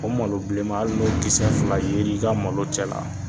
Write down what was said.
O malo bileman hali n'o kisɛ fila ye l'i ka malo cɛ la.